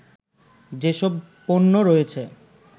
যেসব পণ্য রয়েছে